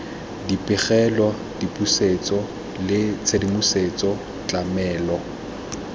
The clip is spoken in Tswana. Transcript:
dipegelo dipusetso le tshedimosetso tlamelo